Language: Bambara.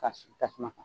Ka sigi tasuma kan